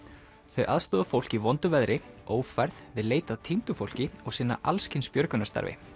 þau aðstoða fólk í vondu veðri ófærð við leit að týndu fólki og sinna alls kyns björgunarstarfi